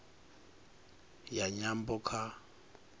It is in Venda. ya nyambo kha